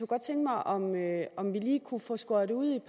godt tænke mig om om vi lige kunne få skåret ud